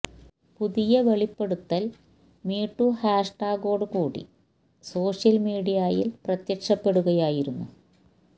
പുതിയ വെളിപ്പെടുത്തല് മീടു ഹാഷ് ടാഗോടു കൂടി സോഷ്യല് മീഡിയയില് പ്രത്യക്ഷപ്പെടുകയായിരുന്നു